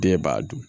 Den b'a dun